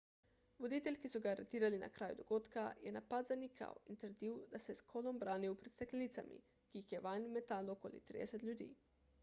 voditelj ki so ga aretirali na kraju dogodka je napad zanikal in trdil da se je s kolom branil pred steklenicami ki jih je vanj metalo okoli 30 ljudi